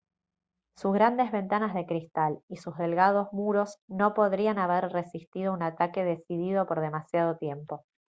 sus grandes ventanas de cristal y sus delgados muros no podrían haber resistido un ataque decidido por demasiado tiempo